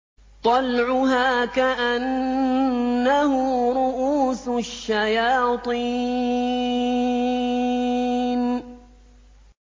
طَلْعُهَا كَأَنَّهُ رُءُوسُ الشَّيَاطِينِ